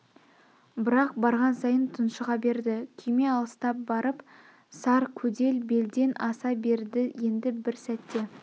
бірақ барған сайын тұншыға берді күйме алыстап барып сар көдел белден аса берді енді бір сәтте